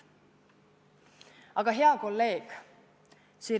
Aga hea kolleeg!